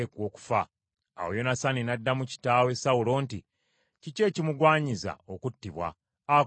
Awo Yonasaani n’addamu kitaawe Sawulo nti, “Kiki ekimugwanyiza okuttibwa? Akoze ki?”